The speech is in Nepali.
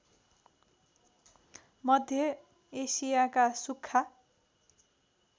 मध्य एशियाका सुख्खा